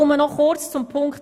Noch kurz zum Antrag